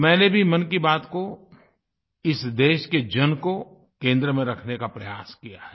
मैंने भी मन की बात को इस देश के जन को केंद्र में रखने का प्रयास किया है